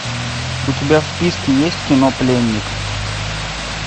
у тебя в списке есть кино пленник